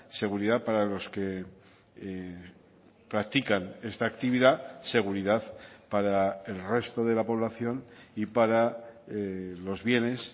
seguridad para los que practican esta actividad seguridad para el resto de la población y para los bienes